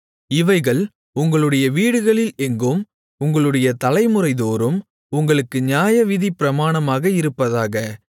இவைகள் உங்களுடைய வீடுகளில் எங்கும் உங்களுடைய தலைமுறைதோறும் உங்களுக்கு நியாயவிதிப் பிரமாணமாக இருப்பதாக